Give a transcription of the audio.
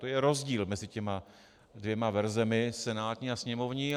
To je rozdíl mezi těmi dvěma verzemi, senátní a sněmovní.